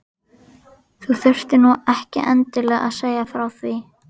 Þú þurftir nú ekki endilega að segja frá því